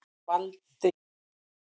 Valdi